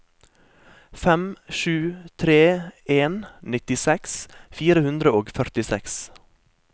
fem sju tre en nittiseks fire hundre og førtiseks